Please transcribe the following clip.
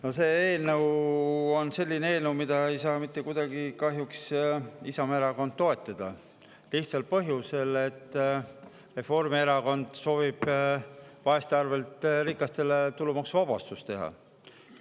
No see eelnõu on selline eelnõu, mida kahjuks ei saa mitte kuidagi Isamaa Erakond toetada, lihtsal põhjusel: Reformierakond soovib vaeste arvelt rikastele tulumaksuvabastust teha.